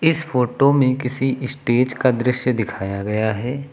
इस फोटो में किसी स्टेज का दृश्य दिखाया गया है।